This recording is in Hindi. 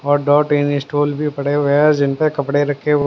और डॉट इंस्टॉल भी पड़े हुए जिन पर कपड़े रखे हुए--